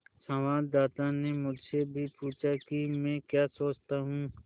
संवाददाता ने मुझसे भी पूछा कि मैं क्या सोचता हूँ